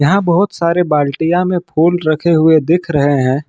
यहां बहुत सारे बाल्टिया में फूल रखे हुए दिख रहे हैं।